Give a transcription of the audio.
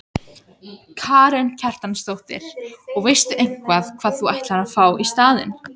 Karen Kjartansdóttir: Og veistu eitthvað hvað þú ætlar að fá í staðinn?